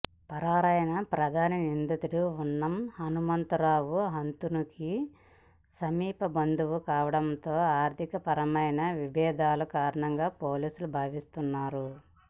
పరారైన ప్రధాన నిందితుడు ఉన్నం హనుమంతరావు హతునికి సమీప బంధువు కావటంతో ఆర్థిక పరమైన విభేదాలే కారణంగా పోలీసులు భావిస్తున్నారు